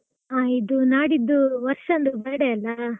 ಹ ಇದು ನಾಡಿದ್ದು ವರ್ಷಂದು birthday ಅಲಾ?